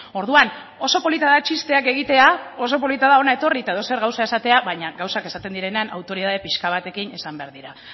orduan oso polita da txisteak egitea oso polita da hona etorri eta edozer gauza esatea baina gauzak esaten direnean autoritate pixka batekin esan behar dira